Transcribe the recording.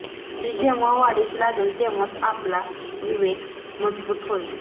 ती जेव्हा वाढीस लागेल तेव्हाच आपला विवेक मजबूत होईल